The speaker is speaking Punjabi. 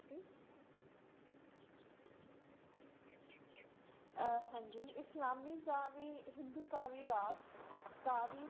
ਅਹ ਹਾਂਜੀ ਇਸਲਾਮੀ ਕਾਵਿ, ਹਿੰਦੂ ਕਾਵਿ ਰਾਗ, ਕਾਵਿ